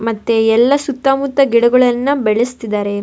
ಮತ್ತೆ ಎಲ್ಲ ಸುತ್ತ ಮುತ್ತ ಗಿಡಗಳನ್ನ ಬೆಳೆಸ್ತಿದ್ದಾರೆ.